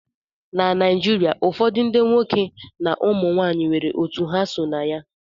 Na Naijiria ụfọdụ ndị nwoke na ụmụ nwanyị nwere otu ha so na ya